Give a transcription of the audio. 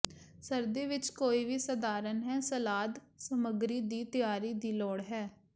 ਸਰਦੀ ਵਿੱਚ ਕੋਈ ਵੀ ਸਧਾਰਨ ਹੈ ਸਲਾਦ ਸਮੱਗਰੀ ਦੀ ਤਿਆਰੀ ਦੀ ਲੋੜ ਹੈ